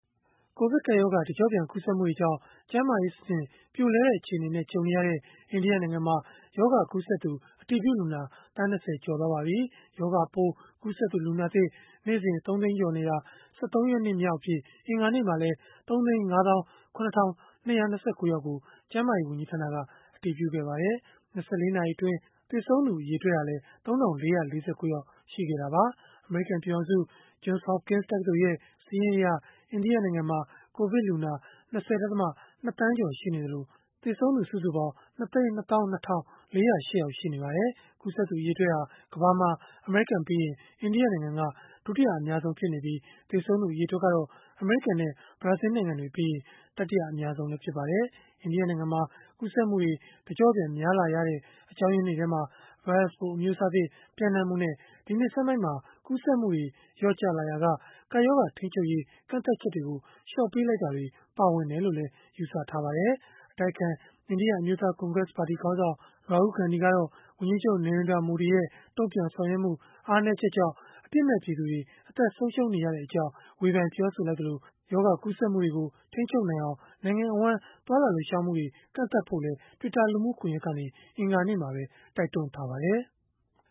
ကိုဗစ်ကပ်ရောဂါ တကျော့ပြန် ကူးစက်မှုတွေကြောင့် ကျန်းမာရေးစနစ် ပြိုလဲတဲ့ အခြေအနေနဲ့ ကြုံနေရတဲ့ အိန္ဒိယနိုင်ငံမှာ ရောဂါကူးစက်သူ အတည်ပြုလူနာ သန်း ၂၀ ကျော် သွားပါပြီ။ ရောဂါပိုး ကူးစက်သူ လူနာသစ် နေ့စဉ် ၃ သိန်းကျော်နေတာ ၁၃ ရက်နေ့မြောက်အဖြစ် အင်္ဂါနေ့မှာလည်း ၃၅၇,၂၂၉ ယောက်ကို ကျန်းမာရေး ဝန်ကြီးဌာနက အတည်ပြုခဲ့ပါတယ်။ ၂၄ နာရီအတွင်း သေဆုံးသူ အရေအတွက်ဟာလည်း ၃,၄၄၉ ယောက် ရှိခဲ့တာပါ။ အမေရိကန် ပြည်ထောင်စု Johns Hopkins တက္ကသိုလ်ရဲ့ စာရင်းအရ၊ အိန္ဒိယနိုင်ငံမှာ ကိုဗစ်လူနာ ၂၀.၂ သန်းကျော် ရှိနေသလို၊ သေဆုံးသူ ၂၂၂,၄၀၈ ယောက် ရှိနေပါတယ်။ ကူးစက်သူအရေအတွက်ဟာ ကမ္ဘာမှာ အမေရိကန်ပြီးရင် အိန္ဒိယနိုင်ငံက ဒုတိယ အများဆုံး ဖြစ်နေပြီး၊ သေဆုံးသူ အရေအတွက်ကတော့ အမေရိကန်နဲ့ ဘရာဇီးနိုင်ငံတွေပြီးရင် တတိယ အများဆုံး ဖြစ်ပါတယ်။ အိန္ဒိယနိုင်ငံမှာ ကူးစက်မှုတွေ တကျော့ပြန် များလာရတဲ့ အကြောင်းရင်းတွေထဲမှာ ဗိုင်းရပ်စ်ပိုး အမျိုးအစားသစ် ပျံ့နှံ့မှုနဲ့ ဒီနှစ်ဆန်းပိုင်းမှာ ကူးစက်မှုတွေ လျော့ကျလာရာက ကပ်ရောဂါထိန်းချုပ်ရေး ကန့်သတ်ချက်တွေကို လျှော့ပေးလိုက်တာတွေ ပါဝင်တယ်လို့လည်း ယူဆကြပါတယ်။ အတိုက်အခံ အိန္ဒိယ အမျိုးသားကွန်ဂရက်ပါတီ ခေါင်းဆောင် Rahul Gandhi ကတော့ ဝန်ကြီးချုပ် Narendra Modi ရဲ့ တုံ့ပြန်ဆောင်ရွက်မှု အားနည်းချက်ကြောင့် အပြစ်မဲ့ပြည်သူတွေ အသက်ဆုံးရှုံးနေရကြောင်း ဝေဖန်ပြောဆိုလိုက်သလို၊ ရောဂါကူးစက်မှုတွေကို ထိန်းချုပ်နိုင်အောင် နိုင်ငံအဝန်း သွားလာလှုပ်ရှားမှုတွေ ကန့်သတ်ဖို့လည်း Twitter လူမှုကွန်ရက်ကနေ အင်္ဂါနေ့ကပဲ တိုက်တွန်းထားပါတယ်။